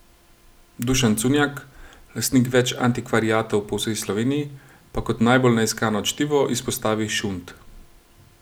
Dušan Cunjak, lastnik več antikvariatov po vsej Sloveniji, pa kot najbolj neiskano čtivo izpostavi šund.